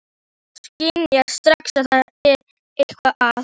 Hún skynjar strax að það er eitthvað að.